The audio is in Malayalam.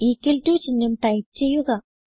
ഇക്വൽ ടോ ചിഹ്നം ടൈപ്പ് ചെയ്യുക